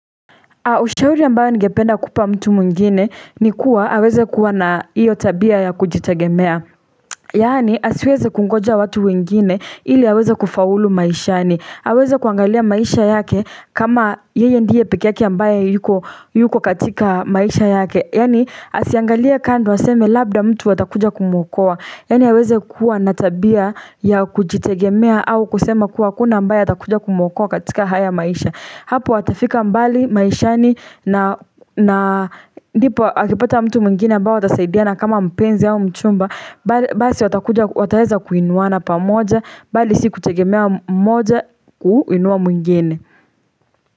Ushauri ambayo ningependa kupa mtu mwingine ni kuwa aweze kua na hio tabia ya kujitegemea. Yani asiweze kungoja watu wengine ili aweze kufaulu maishani. Aweze kuangalia maisha yake kama yeye ndiye peke yake ambayo yuko katika maisha yake. Yaani asiangalie kando aseme labda mtu atakuja kumuokoa. Yaani aweze kuwa na tabia ya kujitegemea au kusema kuwa hakuna ambaye atakuja kumuokoa katika haya maisha. Hapo atafika mbali maishani na ndipo akipata mtu mwingine ambaye watasaidiana kama mpenzi au mchumba basi wataweza kuinuana pamoja bali si kutegemea mmoja kuinua mwingine.